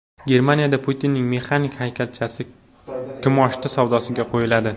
Germaniyada Putinning mexanik haykalchasi kimoshdi savdosiga qo‘yiladi .